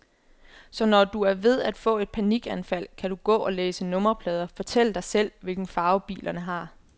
Så når du er ved at få et panikanfald, kan du gå og læse nummerplader, fortælle dig selv, hvilke farver bilerne har.